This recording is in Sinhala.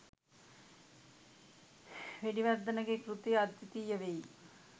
වෙඩිවර්ධන ගේ කෘතිය අද්විතීය වෙයි